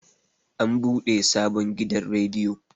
an bude sabon gidan rediyo